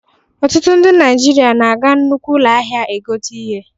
Ọtụtụ ndị Naijiria na-aga nnukwu ụlọ ahịa egote ihe.